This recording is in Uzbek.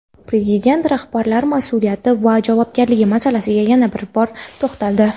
Prezident rahbarlar mas’uliyati va javobgarligi masalasiga yana bir bor to‘xtaldi.